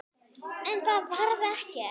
En það varð ekki.